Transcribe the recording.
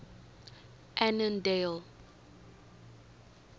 annandale